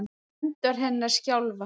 Hendur hennar skjálfa.